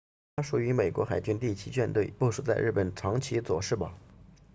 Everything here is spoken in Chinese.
它属于美国海军第七舰队部署在日本长崎佐世保